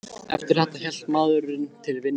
Eftir þetta hélt maðurinn til vinnu sinnar.